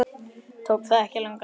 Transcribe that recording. Tók það ekki langan tíma?